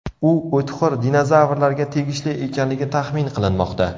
U o‘txo‘r dinozavrlarga tegishli ekanligi taxmin qilinmoqda.